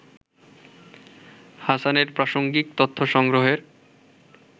হাসানের প্রাসঙ্গিক তথ্য সংগ্রহের